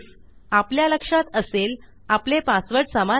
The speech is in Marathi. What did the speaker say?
आपल्या लक्षात असेल आपले पासवर्ड समान आहेत